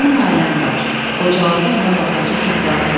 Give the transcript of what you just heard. Mənim ailəm var, qocalandanda mənə baxası uşaqlarım var.